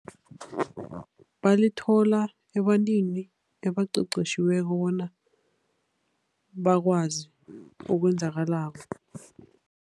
Balithola ebantwini ebaqeqetjhiweko bona bakwazi okwenzakalako.